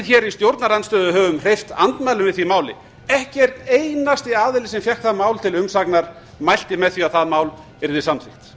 hér í stjórnarandstöðu höfum hreyft andmælum við því máli ekki einn einasti aðili sem fékk það mál til umsagnar mælti með því að það mál yrði samþykkt